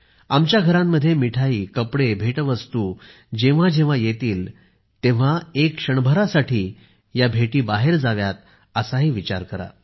आमच्या घरांमध्ये मिठाई कपडे भेटवस्तू जेव्हा जेव्हा येतील तेव्हा एक क्षणभरासाठी या भेटी बाहेर जाव्यातअसाही विचार करा